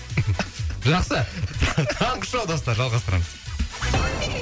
жақсы таңғы шоу достар жалғастырамыз